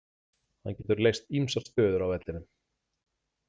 Hann getur leyst ýmsar stöður á vellinum.